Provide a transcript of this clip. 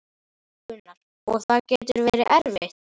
Gunnar: Og það getur verið erfitt?